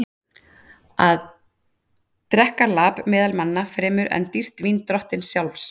Og drekka lap meðal manna fremur en dýrt vín drottins sjálfs?